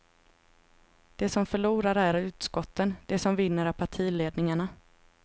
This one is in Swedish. De som förlorar är utskotten, de som vinner är partiledningarna.